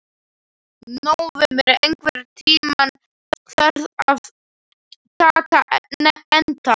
Nóvember, einhvern tímann þarf allt að taka enda.